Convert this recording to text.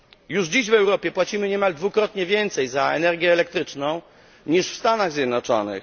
Już dziś w Europie płacimy niemal dwukrotnie więcej za energię elektryczną niż w Stanach Zjednoczonych.